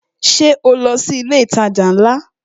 Ṣé o lọ sí ilé itaja ńlá?